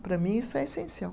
Para mim, isso é essencial.